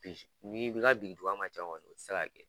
N'i bi ka biriduga man ca kɔni o tɛ se ka kɛ